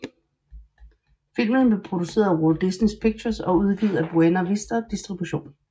Filmen blev produceret af Walt Disney Pictures og udgivet af Buena Vista Distribution